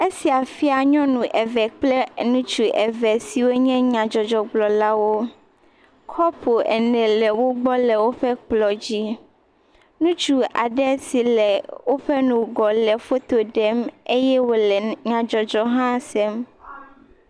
Esia fia nyɔnu eve kple ŋutsu eve ɖe wonye Nyadzɔdzɔ gblɔ la wò. Kɔpu ene le wògbɔ le woƒe kplɔ dzi. Ŋutsu aɖe le woƒe ŋgɔ le foto ɖem eye wole nyadzɔdzɔ hã sem.